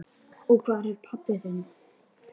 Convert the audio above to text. Og hvar er pabbi þinn?